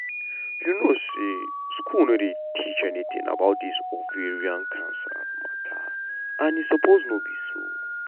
you know say school no dey teach anytin about dis ovarian cancer matter and e no supose be so.